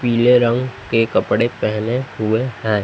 पीले रंग के कपड़े पहने हुए हैं।